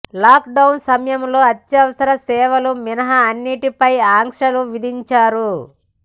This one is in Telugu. లాక్డౌన్ సమయంలో అత్యవసర సేవలు మినహా అన్నింటిపై ఆంక్షలు విధించారు